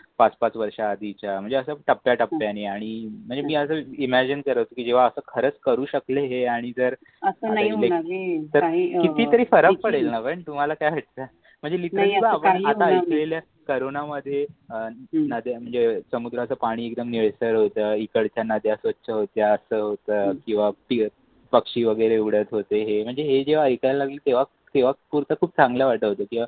तरुणांमध्ये अह ना ते म्हणजे समुद्राचं पाणी एकदम निळसर होते, इकडच्या नद्या स्वच्छ होत्या किवा पक्षी वगैरे उडत होते. हे म्हणजे जेव्हा आयकायला लागले तेव्हा थोडस खूप चांगल्या वाटायचे.